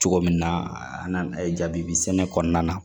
Cogo min na an jabi sɛnɛ kɔnɔna na